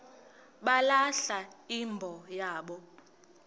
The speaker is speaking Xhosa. balahla imbo yabo